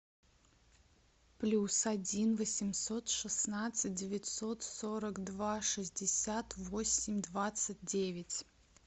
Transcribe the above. плюс один восемьсот шестнадцать девятьсот сорок два шестьдесят восемь двадцать девять